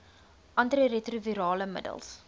anti retrovirale middels